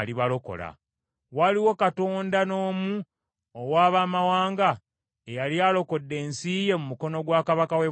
Waliwo katonda n’omu owa baamawanga eyali alokodde ensi ye mu mukono gwa kabaka w’e Bwasuli?